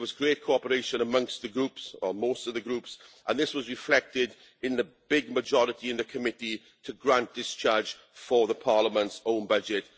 There was great cooperation amongst the groups, or most of the groups, and this was reflected in the big majority in the Committee to grant discharge for Parliament's own budget.